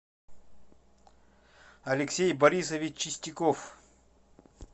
алексей борисович чистяков